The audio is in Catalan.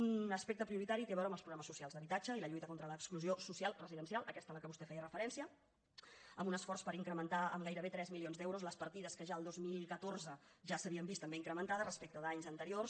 un aspecte prioritari té a veure amb els programes socials d’habitatge i la lluita contra l’exclusió social residencial aquesta a què vostè feia referència amb un esforç per incrementar amb gairebé tres milions d’euros les partides que ja el dos mil catorze ja s’havien vist també incrementades respecte d’anys anteriors